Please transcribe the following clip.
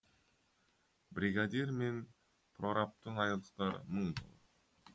бригадир мен прорабтың айлықтары мың